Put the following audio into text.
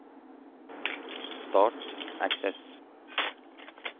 Start Access